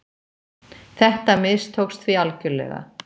Þetta mistókst því algjörlega.